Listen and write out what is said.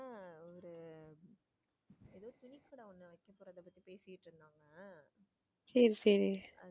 சரி சரி.